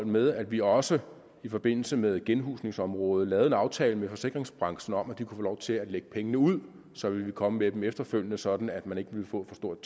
med at vi også i forbindelse med genhusningsområdet lavede en aftale med forsikringsbranchen om at de kunne få lov til at lægge pengene ud så ville vi komme med dem efterfølgende sådan at man ikke ville få for stort